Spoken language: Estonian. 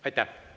Aitäh!